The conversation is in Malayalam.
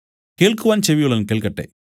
കേൾക്കുവാൻ ചെവി ഉള്ളവൻ കേൾക്കട്ടെ